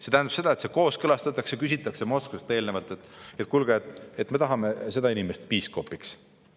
See tähendab, et see kooskõlastatakse Moskvaga, enne küsitakse Moskvast: "Kuulge, me tahame seda inimest piiskopiks.